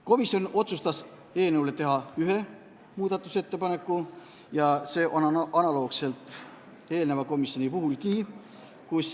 Komisjon otsustas teha eelnõu kohta ühe muudatusettepaneku, analoogse ettepaneku nagu eelneva eelnõu puhul.